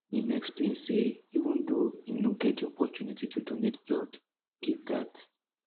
im explain say even though im no get di opportunity to donate blood give dat